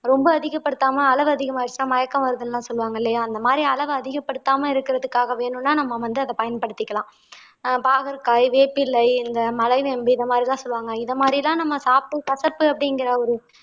ரொம்ப அதிகப்படுத்தாம அளவு அதிகமாயிருச்சுன்னா மயக்கம் வருதுன்னு எல்லாம் சொல்லுவாங்க இல்லையா அந்த மாதிரி அளவ அதிகப்படுத்தாம இருக்கறதுக்காக வேணும்ன்னா நம்ம வந்து அத பயன்படுத்திக்கலாம் ஆஹ் பாகற்காய் வேப்பிலை இந்த மலைவேம்பு இந்த மாதிரி எல்லாம் சொல்லுவாங்க இது மாதிரி தான் நாம சாப்பிட்டு கசப்பு அப்படிங்கிற ஒரு